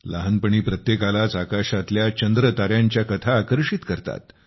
लहानपणी प्रत्येकालाच आकाशातल्या चंद्रतायांच्या कथा आकर्षित करतात